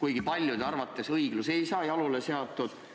Aga paljude arvates õiglus ei saa jalule seatud.